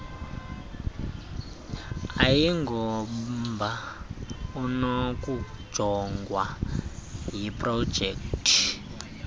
ayingomba unokujongwa yiprojekthi